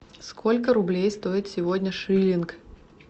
сколько рублей стоит сегодня шиллинг